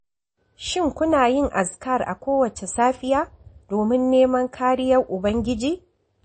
Shin kuna yin azkar a kowace safiya domin neman kariyar ubangiji?